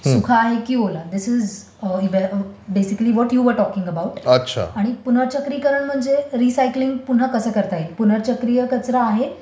सुका आहे की ओला. धिस इज बेसिकली जे तू बोलत होतास. आणि पुन्हा चक्रीकरण म्हणजे रिसायकलिंग पुन्हा कसं करता येईल. पुनर्चक्रीय कचरा आहे?